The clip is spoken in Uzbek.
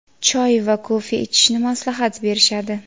choy va kofe ichishni maslahat berishadi.